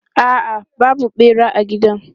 A'a, babu ɓera a gidan.